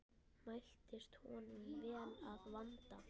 Mæltist honum vel að vanda.